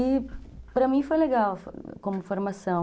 E para mim foi legal como formação.